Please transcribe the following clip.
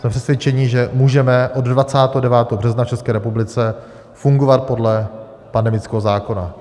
Jsme přesvědčeni, že můžeme od 29. března v České republice fungovat podle pandemického zákona.